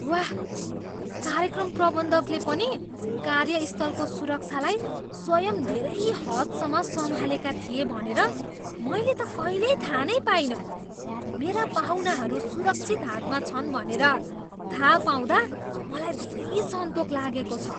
वाह, कार्यक्रम प्रबन्धकले पनि कार्यस्थलको सुरक्षालाई स्वयं धेरै हदसम्म सम्हालेका थिए भनेर मैले त कहिल्यै थाहा नै पाइनँ! मेरा पाहुनाहरू सुरक्षित हातमा छन् भनेर थाहा पाउँदा मलाई धेरै सन्तोक लागेको छ।